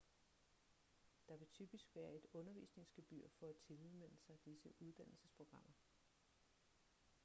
der vil typisk være et undervisningsgebyr for at tilmelde sig disse uddannelsesprogrammer